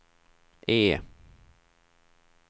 E